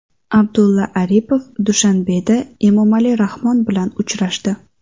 Abdulla Aripov Dushanbeda Emomali Rahmon bilan uchrashdi.